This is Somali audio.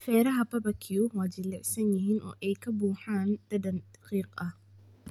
Feeraha barbecue waa jilicsan yihiin oo ay ka buuxaan dhadhan qiiq ah.